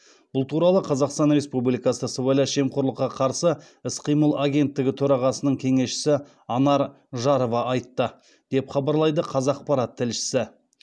бұл туралы қазақстан республикасы сыбайлас жемқорлыққа қарсы іс қимыл агенттігі төрағасының кеңесшісі анар жарова айтты деп хабарлайды қазақпарат тілшісі